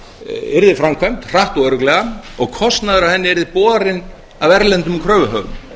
yrði framkvæmd hratt og örugglega og kostnaður af henni yrði borinn af erlendum kröfuhöfum